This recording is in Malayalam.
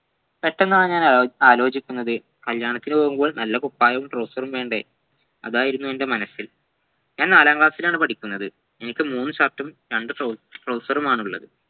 പെട്ടെന്നാണു ഞാൻ ആലോ ആലോചിക്കുന്നത് കല്യാണത്തിന് പോവുമ്പോ നല്ല കുപ്പായവും trouser ഉം വേണ്ടേ അതായിരുന്നു എൻ്റെ മനസ്സിൽ ഞാൻ നാലാം class ൽ ആണു പഠിക്കുന്നത് എനിക്ക് മൂന്ന് shirt ഉം രണ്ട് trouser ഉമാണുള്ളത്